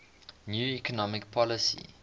new economic policy